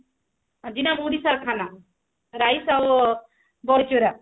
ଆଜିନା ଓଡିଶା ର ଖାନା rice ଆଉ ବଢିଚୁରା